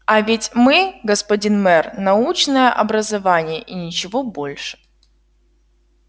а ведь мы господин мэр научное образование и ничего больше